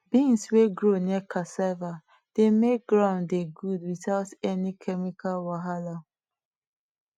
beans wey grow near cassava dey make ground dey good without any chemical wahala